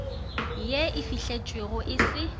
ye e fihletšwego e se